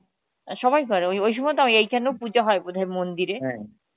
সবাই করে ওই ওই সময় তো এইখানেও পুজো হয় বোধই মন্দিরে